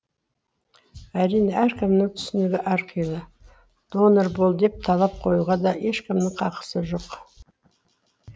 әрине әркімнің түсінігі әрқилы донор бол деп талап қоюға да ешкімнің хақысы жоқ